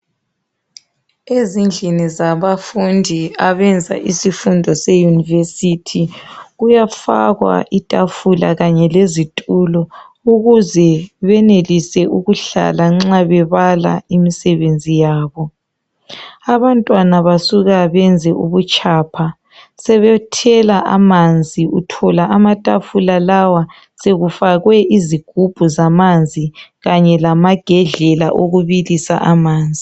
Ezindlini zabafundi abenza isifundo eye yunivesithi kuyafakwa itafula kanye lezitulo ukuze benelise ukuhlahla nxa bebala imisebenzi yabo. Abantwana basuka benze ubutshapha sebethela amanzi uthola amatafula lawa sokufakwe izigumbu zamanzi kanye lamagedlela okubilisa amanzi.